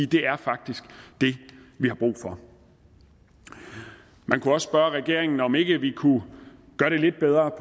det er faktisk det vi har brug for man kunne også spørge regeringen om ikke vi kunne gøre det lidt bedre